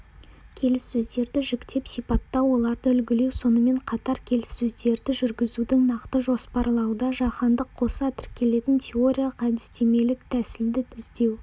келіссөздерді жіктеп сипаттау оларды үлгілеу сонымен қатар келіссөздерді жүргізуді нақты жоспарлауда жаһандық-қоса тіркелетін теориялық-әдістемелік тәсілді іздеу